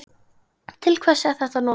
Til hvers er þetta notað?